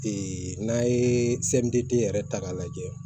n'a ye yɛrɛ ta k'a lajɛ